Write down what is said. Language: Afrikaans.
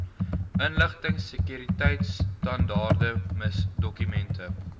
inligtingsekuriteitstandaarde miss dokumente